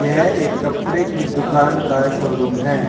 यह एक कपड़े की दुकान का शोरूम है।